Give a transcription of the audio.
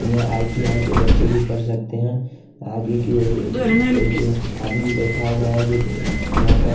यहां आई_टी_आय के बच्चे भी पढ़ सकते हैं आगे की ओर एक आदमी बैठा हुआ है जो यहां का --